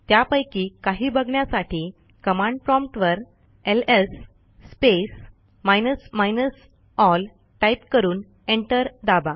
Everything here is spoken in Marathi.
त्यापैकी काही बघण्यासाठी कमांड प्रॉम्प्ट वर LS space minus minus L type करून एंटर दाबा